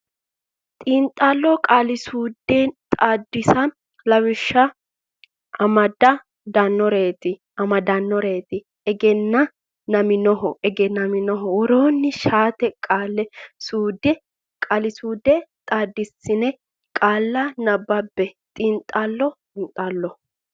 Xiinxallo Qaali suude Xaadisa Lawishsha amad dannoreeti amaddannoreeti egen naminoho egennaminoho Woroonni shaete qaali suudda xaadissine qaalla nabbabbe Xiinxallo Xiinxallo.